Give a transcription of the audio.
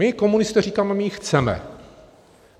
My komunisté říkáme: My ji chceme.